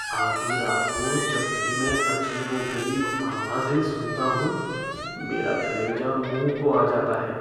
आधी रात को जब भी मैं अजीबो गरीब आवाज़ें सुनता हूँ, मेरा कलेजा मुँह को आ जाता है।